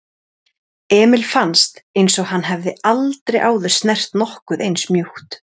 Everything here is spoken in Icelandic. Emil fannst einsog hann hefði aldrei áður snert nokkuð eins mjúkt.